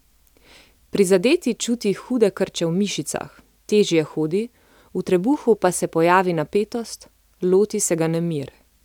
Prizadeti čuti hude krče v mišicah, težje hodi, v trebuhu pa se pojavi napetost, loti se ga nemir.